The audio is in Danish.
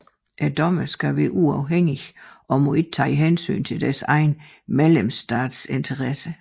Dommerne skal være uafhængige og må ikke tage hensyn til deres egen medlemsstats interesser